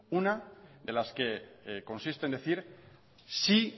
una de las que consiste en decir sí